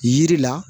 Yiri la